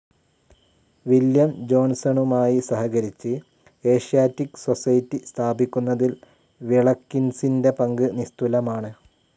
William ജോൺസണുമായി സഹകരിച്ച് Asiatic Society സ്ഥാപിക്കുന്നതിൽ വിളക്കിൻസിൻ്റെ പങ്ക് നിസ്തുലമാണ്.